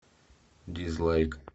дизлайк